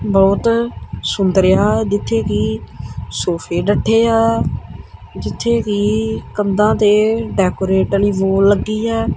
ਬਹੁਤ ਸੁੰਦਰ ਅ ਜਿੱਥੇ ਕਿ ਸੋਫੇ ਡੱਠੇ ਆ ਜਿੱਥੇ ਵੀ ਕੰਧਾਂ ਤੇ ਡੈਕੋਰੇਟ ਵਾਲੀ ਲੱਗੀ ਆ।